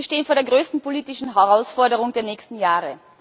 Wir stehen vor der größten politischen Herausforderung der nächsten Jahre.